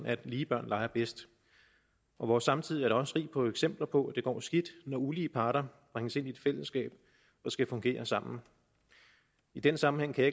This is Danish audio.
at lige børn leger bedst og vores samtid er da også rig på eksempler på at det går skidt når ulige parter bringes ind i et fællesskab og skal fungere sammen i den sammenhæng kan